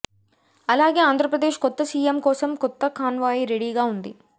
అలాగే ఆంధ్రప్రదేశ్ కొత్త సీఎం కోసం కొత్త కాన్వాయ్ రెడీగా ఉంది